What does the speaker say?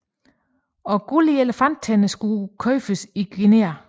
Også guld og elefanttænder skulle købes i Guinea